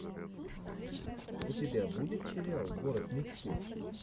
у тебя будет сериал город мечты